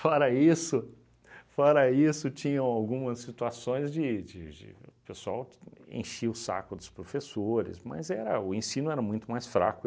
Fora isso, fora isso, tinham algumas situações de de de... o pessoal enchia o saco dos professores, mas o ensino era muito mais fraco.